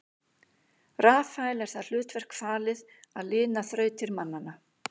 Rafael er það hlutverk falið að lina þrautir mannanna.